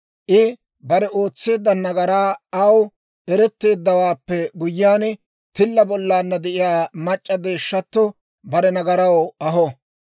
I bare ootseedda nagaray aw eretteeddawaappe guyyiyaan, tilla bollaanna de'iyaa mac'c'a deeshshatto bare nagaraw aho.